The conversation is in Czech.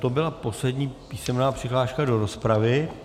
To byla poslední písemná přihláška do rozpravy.